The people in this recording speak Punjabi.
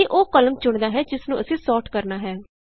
ਇਹ ਉਹ ਕਾਲਮ ਚੁਣਦਾ ਹੈ ਜਿਸ ਨੂੰ ਅਸੀਂ ਸੋਰਟ ਕਰਨਾ ਹੈ